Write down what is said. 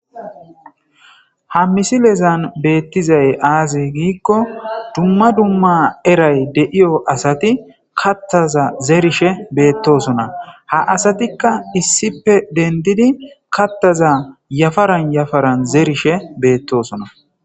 ha misilezan beettizay aazi giikko dumma dumma eray de'iyo asati kattaza zerishe beettosona ha asatikka issipe dendidi kattaza yafaran yafaran zerishe beettosona